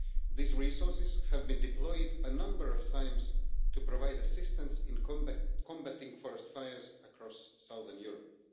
These resources have been deployed a number of times to provide assistance in combating forest fires across southern Europe.